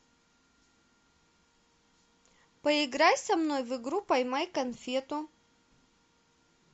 поиграй со мной в игру поймай конфету